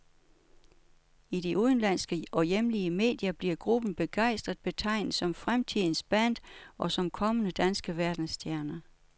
I de udenlandske og hjemlige medier bliver gruppen begejstret betegnet som fremtidens band og som kommende danske verdensstjerner.